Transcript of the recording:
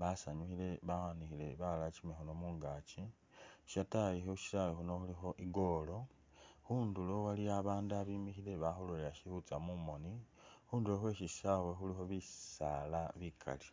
basanyukhile bawanikhile balala kyimikhono mungakyi shatayi khushisawe khuno khulikho i’goal , khunduro waliwo babandu abimikhile bakhulolelela shikhutya mumoni ,khunduro khweshisawa khulikhi bisala bikali.